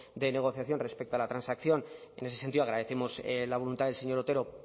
de negociación respecto a la transacción en ese sentido agradecemos la voluntad del señor otero